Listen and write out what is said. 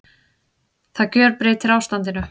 Það gjörbreytir ástandinu